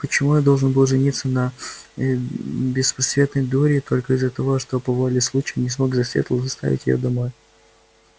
почему я должен был жениться на беспросветной дуре только из-за того что по воле случая не смог засветло доставить её домой